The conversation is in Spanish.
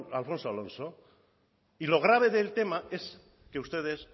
alfonso alonso y lo grabe del tema es que ustedes